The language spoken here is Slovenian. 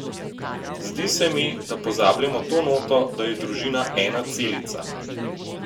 Zdi se mi, da pozabljamo to noto, da je družina ena celica.